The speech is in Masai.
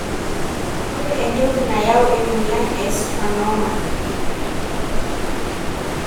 Ore entoki nayau emoyia e schwannoma.